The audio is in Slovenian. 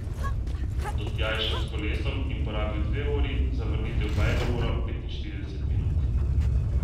Do tja je šel s kolesom in porabil dve uri, za vrnitev pa eno uro petinštirideset minut.